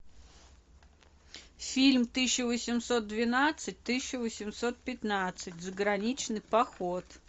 фильм тысяча восемьсот двенадцать тысяча восемьсот пятнадцать заграничный поход